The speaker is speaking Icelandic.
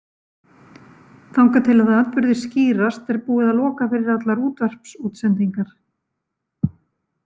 Þangað til að atburðir skýrast er búið að loka fyrir allar útvarpsútsendingar.